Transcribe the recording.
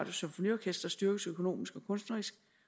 symfoniorkester styrkes økonomisk og kunstnerisk